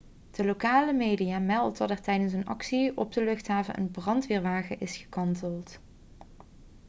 de lokale media meldt dat er tijdens een actie op de luchthaven een brandweerwagen is gekanteld